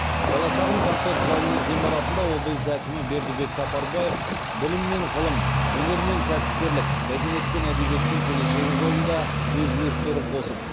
баласағұн концерт залының ғимаратында облыс әкімі бердібек сапарбаев білім мен ғылым өнер мен кәсіпкерлік мәдениет пен әдебиеттің келешегі жолында өз үлестерін қосып